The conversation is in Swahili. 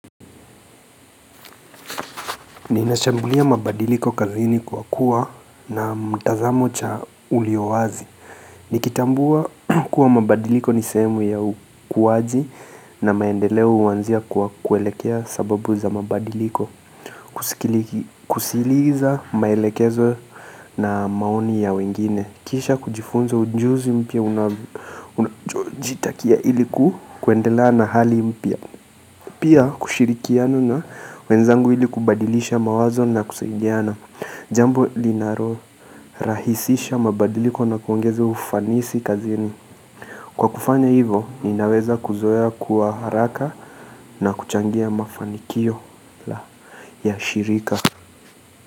Ninashambulia mabadiliko kazini kwa kuwa na mtazamo cha ulio wazi Nikitambua kuwa mabadiliko ni sehemu ya ukuwaji na maendeleo huanzia kwa kuelekea sababu za mabadiliko Kusiliza maelekezo na maoni ya wengine Kisha kujifunza ujuzi mpya unachojitakia iliku kuendelea na hali mpya Pia kushirikiana na wenzangu ili kubadilisha mawazo na kusaidiana Jambo linaro rahisisha mabadiliko na kuongeze ufanisi kazini Kwa kufanya hivo inaweza kuzoea kuwa haraka na kuchangia mafanikio la ya shirika.